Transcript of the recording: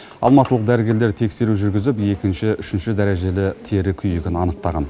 алматылық дәрігерлер тексеру жүргізіп екінші үшінші дәрежелі тері күйігін анықтаған